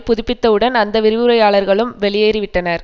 புதுப்பித்தவுடன் அந்த வரிவுரையாளர்களும் வெளியேறிவிட்டனர்